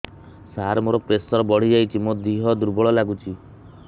ସାର ମୋର ପ୍ରେସର ବଢ଼ିଯାଇଛି ମୋ ଦିହ ଦୁର୍ବଳ ଲାଗୁଚି